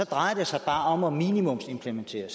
drejer sig om at minimumsimplementere